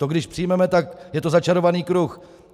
To když přijmeme, tak je to začarovaný kruh.